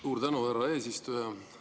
Suur tänu, härra eesistuja!